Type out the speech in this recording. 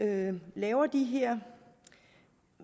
man laver de her